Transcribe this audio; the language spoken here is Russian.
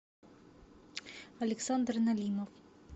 александр налимов